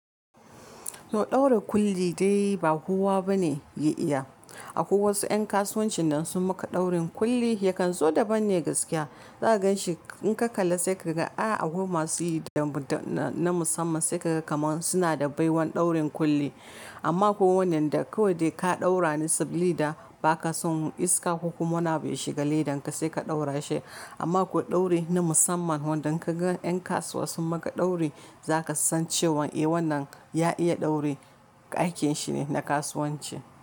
Sau ɗaura kulli dai ba kowa bane ya iya. Akwai wasu 'yan kasuwancin da sun maka ɗaurin kulli yakan zo daban ne gaskiya. Zaka gan shi in ka kalla sai kaga a akwai masu yi da na musamman sai kaga kamar suna da baiwan ɗaurin kulli. Amma ko wannan da kawai da ka ɗaura ne sabili da ba ka son iska kuma wuna bai shiga ledan ka sai ka ɗaura shi. Amma ko ɗauri na musamman wanda ka gan ƴan kasuwa sun maka ɗauri za ka san cewan eh wannan ya iya ɗauri aikin shi ne na kasuwanci.